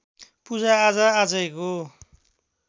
पूजाआजा आजैको